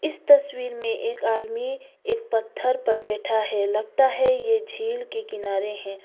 इस तस्वीर में एक आदमी एक पत्थर पर बैठा है लगता है ये झील के किनारे हैं।